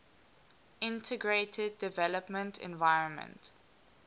integrated development environment